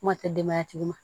Kuma tɛ denbaya tigi ma